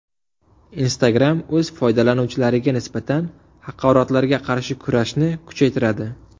Instagram o‘z foydalanuvchilariga nisbatan haqoratlarga qarshi kurashni kuchaytiradi.